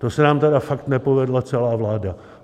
To se nám tedy fakt nepovedla celá vláda.